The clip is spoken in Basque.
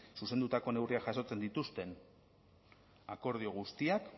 zuzendutako neurriak jasotzen dituzten akordio guztiak